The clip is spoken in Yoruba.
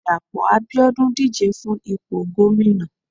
Dapo abiodun díje fún ìpo gomina